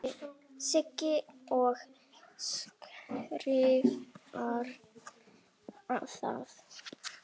Segi og skrifa það.